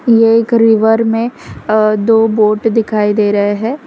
ये एक रिवर में अ दो बोट दिखाई दे रहा हैं।